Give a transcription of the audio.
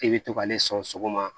I bɛ to k'ale sɔn sɔgɔma